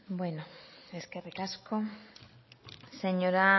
eskerrik asko señora